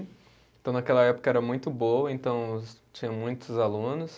Então naquela época era muito boa, então tinha muitos alunos.